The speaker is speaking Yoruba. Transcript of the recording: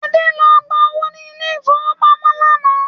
Adé lọ gba owó ni ilẹ̀ ìfowópamọ́ lánàá